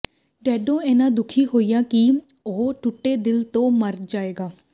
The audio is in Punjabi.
ਡੈਡੋ ਇੰਨਾ ਦੁਖੀ ਹੋਇਆ ਕਿ ਉਹ ਟੁੱਟੇ ਦਿਲ ਤੋਂ ਮਰ ਜਾਏਗੀ